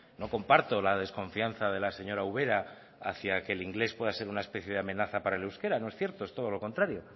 no comparto la desconfianza de la señora ubera hacia que el inglés pueda ser una especie de amenaza para el euskera no es cierto es todo lo contrario